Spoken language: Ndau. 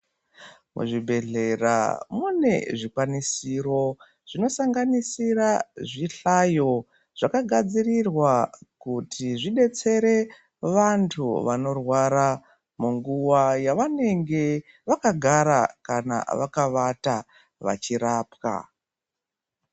Muzvibhedhlera mune zvikwanisiro zvinosanganisira zvihlayo zvakagadzirirwa kuti zvedetsere vantu vanorwara munguva yavanenge vakagara kana vakawata vachirapwa.